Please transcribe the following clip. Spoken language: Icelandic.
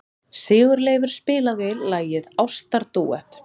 Sigurleifur, spilaðu lagið „Ástardúett“.